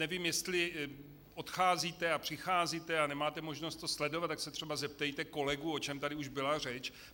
Nevím, jestli odcházíte a přicházíte a nemáte možnost to sledovat, tak se třeba zeptejte kolegů, o čem tady už byla řeč.